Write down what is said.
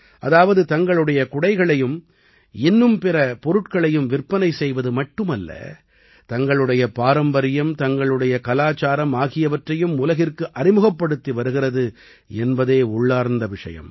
அதாவது தங்களுடைய குடைகளையும் இன்னும் பிற பொருட்களையும் விற்பனை செய்வது மட்டுமல்ல தங்களுடைய பாரம்பரியம் தங்களுடைய கலாச்சாரம் ஆகியவற்றையும் உலகிற்கு அறிமுகப்படுத்தி வருகிறது என்பதே உள்ளார்ந்த விஷயம்